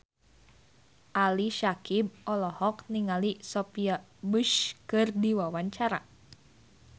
Ali Syakieb olohok ningali Sophia Bush keur diwawancara